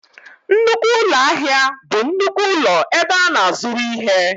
Nnukwu ụlọ ahịa bụ nnukwu ụlọ ebe a na-azụrụ ihe